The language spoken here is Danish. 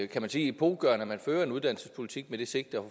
kan man sige epokegørende at man fører en uddannelsespolitik med det sigte at